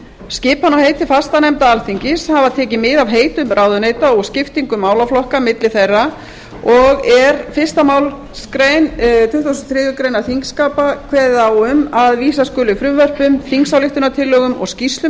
skipan á heiti fastanefnda alþingis hafa tekið mið af heitum ráðuneyta og skiptingu málaflokka milli þeirra og er fyrsta málsgrein tuttugustu og þriðju greinar þingskapa kveðið á um að vísa skuli frumvörpum þingsályktunartillögum skýrslum